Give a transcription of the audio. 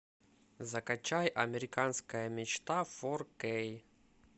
закачай американская мечта фор кей